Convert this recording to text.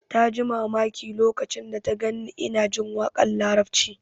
Ta yi mamaki lokacin da ta gan ni ina jin waƙar larabci